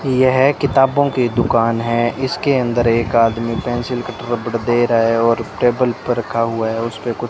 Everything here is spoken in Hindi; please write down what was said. यह किताबों की दुकान है इसके अंदर एक आदमी पेंसिल कटर रबर दे रहा है और टेबल पर रखा हुआ है उसपे कुछ --